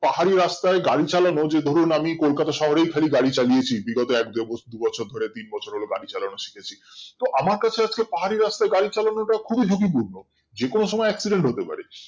পাহাড়ি রাস্তায় গাড়ি চালানো যে ধরুন আমি কোলকাতা শহরেই খালি গাড়ি চালিয়েছি বিগত এক বছর দু বছর ধরে তিন বছর হলো গাড়ি চালানো শিখেছি আমার কাছে আজকে পাহাড়ি রাস্তায় গাড়ি চালানোটা খুবই ঝুঁকিপূর্ণ যে কোনো সময় accident হতে পারে